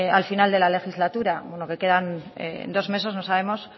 al final de la legislatura bueno que quedan dos meses no sabemos